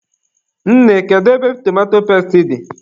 Nne, kedu ebe tomato pesti dị?